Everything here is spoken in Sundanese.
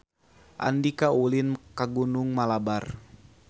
Andika ulin ka Gunung Malabar